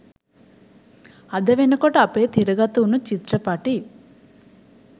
අද වෙනකොට අපේ තිරගතවුණු චිත්‍රපටි